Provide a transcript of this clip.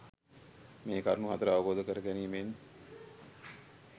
මේ කරුණු හතර අවබෝධ කර ගැනීමෙන්